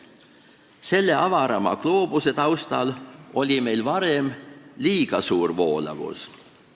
Selle suurema gloobuse taustal paistab, et varem oli meil liiga suur voolavus.